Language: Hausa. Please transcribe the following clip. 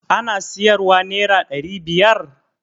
Ana siyar wa nera ɗari biyar